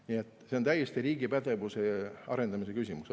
Nii et see on täiesti riigi pädevuse arendamise küsimus.